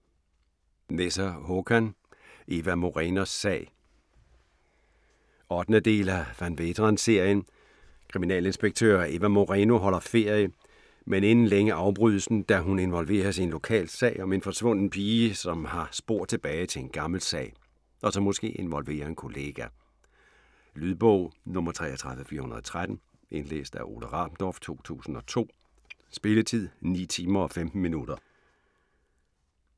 Nesser, Håkan: Ewa Morenos sag 8. del af Van Veeteren-serien. Kriminalinspektør Ewa Moreno holder ferie, men inden længe afbrydes den, da hun involveres i en lokal sag om en forsvunden pige, som har spor tilbage til en gammel sag, og som måske involverer en kollega. Lydbog 33413 Indlæst af Ole Rabendorf, 2002. Spilletid: 9 timer, 15 minutter.